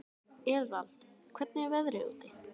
Eðvald, hvernig er veðrið úti?